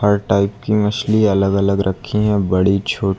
हर type की मछली अलग अलग रखी है बड़ी छोटी--